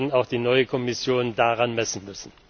Wir werden auch die neue Kommission daran messen müssen.